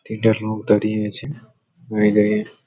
একটা লোক দাঁড়িয়ে আছে-এ মাই লাইফ --